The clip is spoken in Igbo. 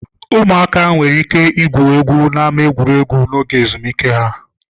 Ụmụaka nwere ike igwu egwu n'ámá egwuregwu n'oge ezumike ha.